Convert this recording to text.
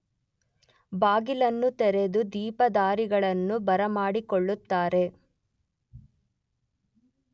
ಬಾಗಿಲನ್ನು ತೆರೆದು ದೀಪಧಾರಿಗಳನ್ನು ಬರಮಾಡಿಕೊಳ್ಳುತ್ತಾರೆ.